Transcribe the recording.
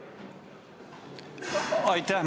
Aitäh!